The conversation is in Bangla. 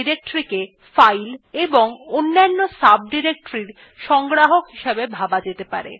একটি directoryকে files এবং অন্যান্য sub directories এর সংগ্রাহক হিসেবে ভাবা যেতে পারে